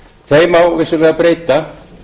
þeim má vissulega breyta